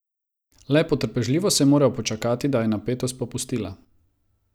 Le potrpežljivo sem moral počakati, da je napetost popustila.